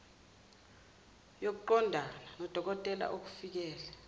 yokuqondana nodokotela okufikele